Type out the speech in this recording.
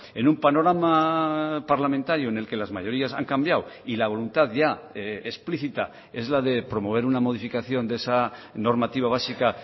en un panorama parlamentario en el que las mayorías han cambiado y la voluntad ya explícita es la de promover una modificación de esa normativa básica